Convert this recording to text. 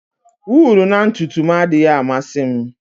Wụlụ na ntutu m adịghị amasị m.